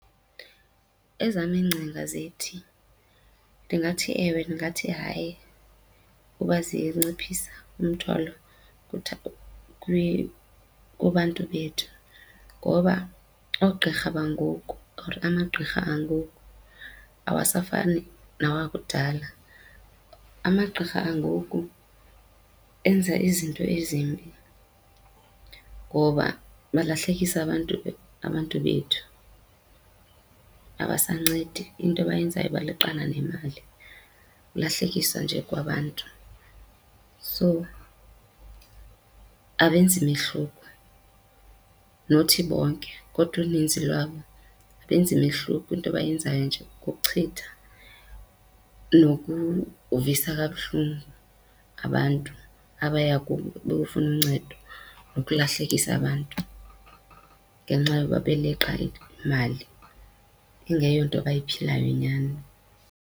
Ezam iingcinga zithi ndingathi ewe, ndingathi hayi, uba zinciphisa umthwalo kubantu bethu. Ngoba oogqirha bangoku or amagqirha angoku awasafani nawakudala. Amagqirha angoku enza izinto ezimbi ngoba balahlekisa abantu, abantu bethu. Abasancedi, into abayenzayo baleqana nemali, kulahlekiswa nje kwabantu. So abenzi mehluko. Not bonke kodwa uninzi lwabo abenzi mehluko into abayenzayo nje kukuchitha nokuvisa kabuhlungu abantu abaya kubo beyofuna uncedo, nokulahlekisa abantu ngenxa yoba beleqa imali ingeyonto abayiphilayo nyani.